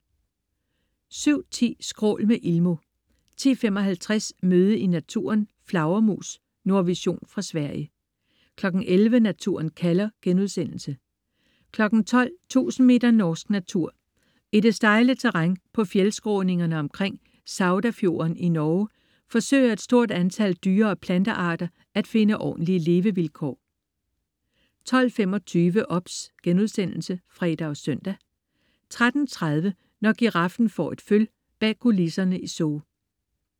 07.10 Skrål med Ilmo 10.55 Møde i naturen: Flagermus. Nordvision fra Sverige 11.00 Naturen kalder* 12.00 Tusind meter norsk natur. I det stejle terræn på fjeldskråningerne omkring Saudafjorden i Norge forsøger et stort antal dyre- og plantearter at finde ordentlige levevilkår 12.25 OBS* (fre og søn) 13.30 Når giraffen får et føl. Bag kulisserne i Zoo